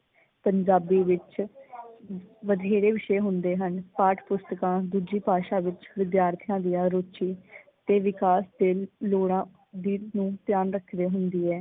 ਪੰਜਾਬੀ ਵਿੱਚ ਵਧੇਰੇ ਵਿਸ਼ੇ ਹੁੰਦੇ ਹਨ। ਪਾਠ ਪੁਸਤਕਾਂ ਦੂਜੀ ਭਾਸ਼ਾ ਵਿੱਚ ਵਿਦਿਆਰਥੀਆਂ ਦੀਆਂ ਰੂਚੀ ਤੇ ਵਿਕਾਸ ਦੇ ਲੋੜਾਂ ਦੀ ਨੂੰ ਧਿਆਨ ਰੱਖਦੀ ਹੁੰਦੀ ਹੈ।